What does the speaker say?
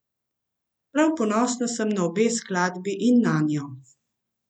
Prav ponosna sem na obe skladbi in nanjo.